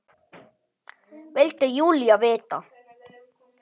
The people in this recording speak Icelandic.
vildi Júlía vita.